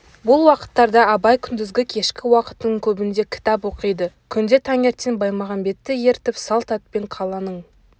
бұл уақыттарда абай күндізгі кешкі уақытының көбінде кітап оқиды күнде таңертең баймағамбетті ертіп салт атпен қаланың